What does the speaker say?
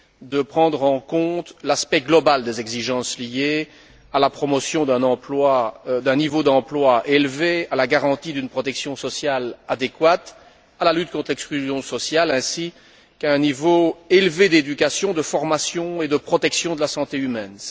de prendre en compte l'aspect global des exigences liées à la promotion d'un niveau d'emploi élevé, à la garantie d'une protection sociale adéquate, à la lutte contre l'exclusion sociale ainsi qu'à un niveau élevé d'éducation, de formation et de protection de la santé humaine.